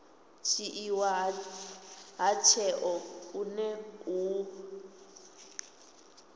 dzhiiwa ha tsheo hune hu